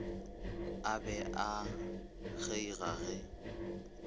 a be a kgeiga ge